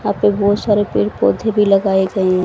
यहां पे बहुत सारे पेड़ पौधे भी लगाए गए हैं।